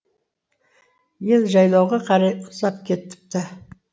ел жайлауға қарай ұзап кетіпті